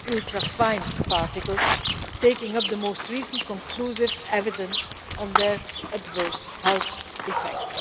ultrafine particles, taking up the most recent conclusive evidence on their adverse health effects.